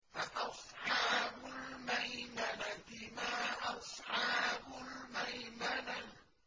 فَأَصْحَابُ الْمَيْمَنَةِ مَا أَصْحَابُ الْمَيْمَنَةِ